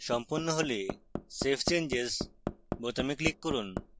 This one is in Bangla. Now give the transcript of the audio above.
সম্পন্ন হলে save changes বোতাম click করুন